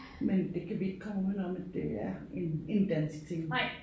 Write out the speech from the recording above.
Men det kan vi ikke komme udenom at det er en en dansk ting